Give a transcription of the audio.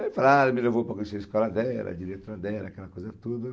Daí falaram, me levou para conhecer a escola dela, a diretora dela, aquela coisa toda.